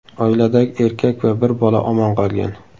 Oiladagi erkak va bir bola omon qolgan.